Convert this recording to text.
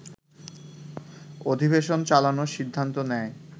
অধিবেশন চালানোর সিদ্ধান্ত নেয়